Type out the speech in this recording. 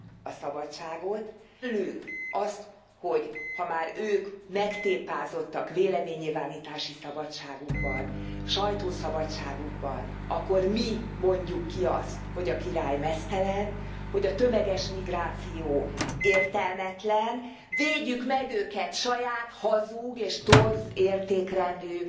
a szabadságot, várja tőlünk azt, hogy ha már ők megtépázottak véleménynyilvánítási szabadságukban, sajtószabadságukban, akkor mi mondjuk ki azt, hogy a király meztelen, hogy a tömeges migráció értelmetlen, védjük meg őket saját hazug és torz értékrendű